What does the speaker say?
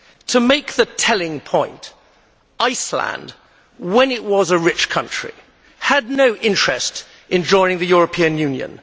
To make the telling point, Iceland, when it was a rich country, had no interest in joining the European Union.